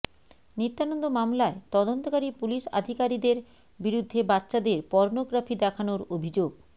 নিত্যানন্দ মামলায় তদন্তকারী পুলিশ আধিকারিদের বিরুদ্ধে বাচ্চাদের পর্নোগ্রাফি দেখানোর অভিযোগ